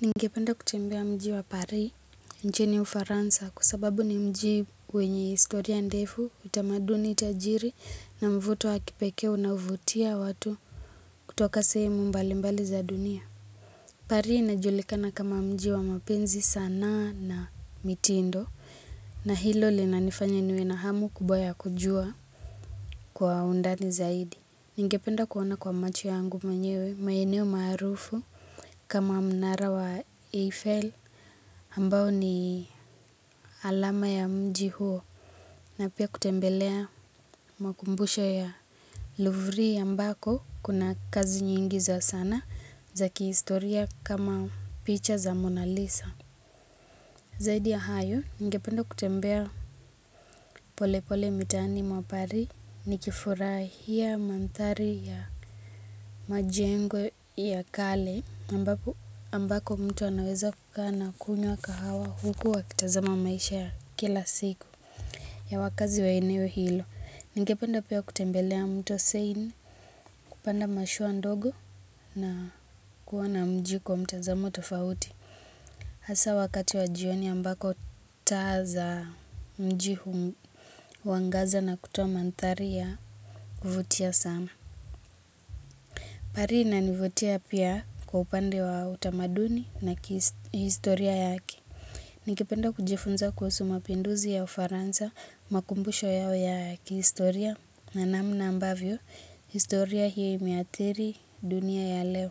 Ningependa kutembea mji wa paris inchini ufaransa kwa sababu ni mji wenye historia ndefu utamanduni tajiri na mvuto wa kipekee unaovutia watu kutoka sehemu mbali mbali za dunia pari inajulikana kama mji wa mapenzi sanaa na mitindo na hilo linanifanya niwe na hamu kubwa ya kujua kwa undani zaidi. Ningependa kuona kwa macho yangu mwenyewe maeneo maarufu kama mnara wa Eiffel ambao ni alama ya mji huo na pia kutembelea makumbusho ya Louvry ambako kuna kazi nyingi za sanaa za kihistoria kama picha za Mona Lisa. Zaidi ya hayo, ningependa kutembea pole pole mitaani mwa pari ni kifurahia manthari ya majengo ya kale ambako mtu anaweza kukaa na kunywa kahawa huku wakitazama maisha ya kila siku ya wakaazi wa eneo hilo. Ningependa pia kutembelea mto seini kupanda mashua ndogo na kuona mji kwa mtazamo tofauti. Hasa wakati wa jioni ambako taa za mji huwangaza na kutoa manthari yakuvutia sana. Pari inanivutia pia kwa upande wa utamaduni na historia yake ningependa kujifunza kuhusu mapinduzi ya ufaransa makumbusho yao ya kihistoria na namna ambavyo historia hii imeadhiri dunia ya leo.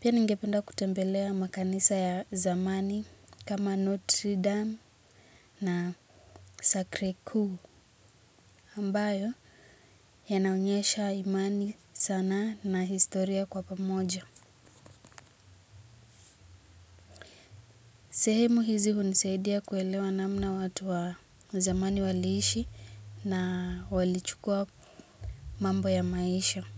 Pia ningependa kutembelea makanisa ya zamani kama Notre Dame. Na sakrikuu ambayo yanaonyesha imani sanaa na historia kwa pamoja. Sehemu hizi hunisadia kuelewa namna watu wa zamani waliishi na walichukua mambo ya maisha.